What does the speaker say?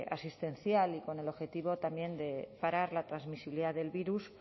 asistencial y con el objetivo también de parar la transmisibilidad del virus